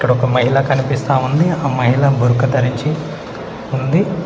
ఇక్కడ ఒక మహిళ కనిపిస్తా ఉంది ఆ మహిళ బురఖా ధరించి ఉంది.